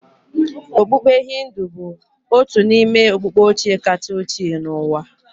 Okpukpe Hindu bụ otu n'ime okpukpe ochie kacha ochie n'ụwa